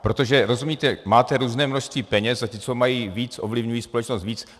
Protože, rozumíte, máte různé množství peněz a ti, co mají víc, ovlivňují společnost více.